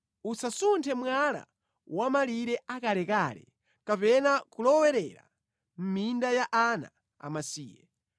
Usasunthe mwala wa mʼmalire akalekale kapena kulowerera mʼminda ya ana amasiye,